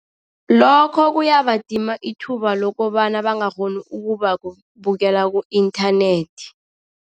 Lokho kuyabadima ithuba lokobana bangakghoni ukubabukela ku-inthanethi.